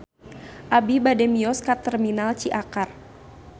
Abi bade mios ka Terminal Ciakar